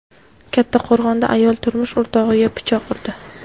Kattaqo‘rg‘onda ayol turmush o‘rtog‘iga pichoq urdi.